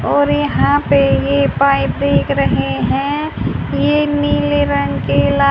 और यहां पे ये पाइप देख रहे हैं ये नीले रंग के ला--